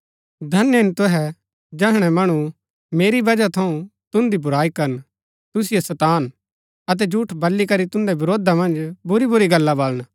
धन्य हिन तुहै जैहणै मणु मेरी वजह थऊँ तुन्दी बुराई करन तुसिओ सतान अतै झूठ बली करी तुन्दै वरोधा मन्ज बुरीबुरी गल्ला बलन